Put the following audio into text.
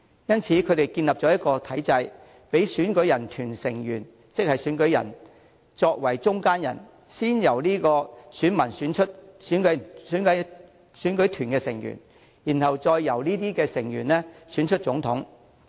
因此，他們建立了一個體制，讓選舉團成員作為中間人，先由選民選出選舉團成員，然後再由這些成員選出總統。